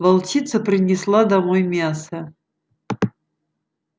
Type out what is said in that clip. волчица принесла домой мясо